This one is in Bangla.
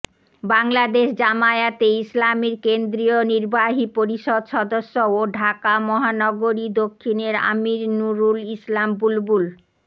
বাংলাদেশ জামায়াতে ইসলামীর কেন্দ্রীয় নির্বাহী পরিষদ সদস্য ও ঢাকা মহানগরী দক্ষিণের আমীর নূরুল ইসলাম বুলবুল